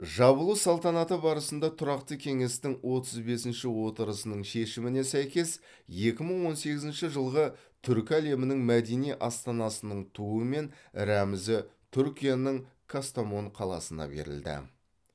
жабылу салтанаты барысында тұрақты кеңестің отыз бесінші отырысының шешіміне сәйкес екі мың он сегізінші жылғы түркі әлемінің мәдени астанасының туы мен рәмізі түркияның кастамон қаласына берілді